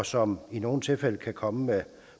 og som i nogle tilfælde kan komme